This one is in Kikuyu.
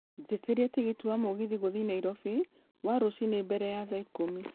jĩtĩria tigiti wa mũgithi gũthiĩ nairobi wa rũcinĩ mbere ya thaa ikũmi